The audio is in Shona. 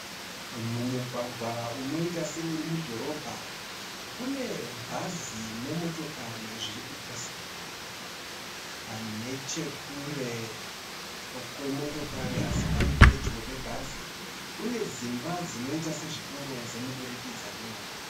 Mumugwagwa unoita seuri mudhorobha. Kune bhazi nemotokari zvirikupesana. Nechekure kwemotokari asi pari pedyo pebhazi kune dzimba dzimba dzinoita sezvitoro chemudurukidzanwa.